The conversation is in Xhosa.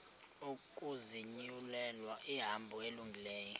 ukuzinyulela ihambo elungileyo